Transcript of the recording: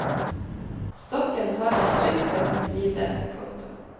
Stokken har han trygt ved sin side. punktum